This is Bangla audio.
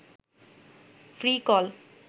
free call